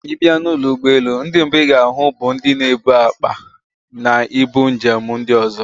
Ì bịa n'ụlọ ụgbọelu, ndị mbụ ị ga-ahụ bụ ndị na-ebu akpa na ibu njem ndị ozo